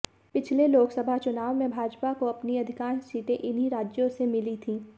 पिछले लोकसभा चुनाव में भाजपा को अपनी अधिकांश सीटें इन्हीं राज्यों से मिली थीं